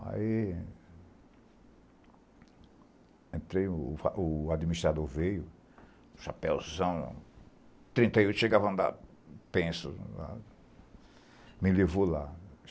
Aí... Entrei, o o administrador veio, chapéuzão, trinta e oito, chegava a andar, penso, me levou lá.